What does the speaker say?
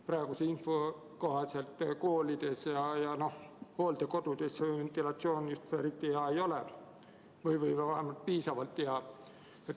Praeguse info kohaselt ei ole koolides ja hooldekodudes ventilatsioon piisavalt hea.